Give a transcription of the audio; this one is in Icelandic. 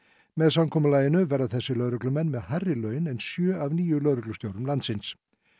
með samkomulaginu verða þessir lögreglumenn með hærri laun en sjö af níu lögreglustjórum landsins